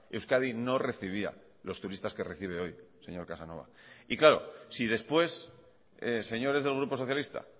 euskadi no recibía los turistas que recibe hoy señor casanova y claro si después señores del grupo socialista